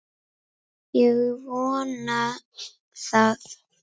Ég vonaði það.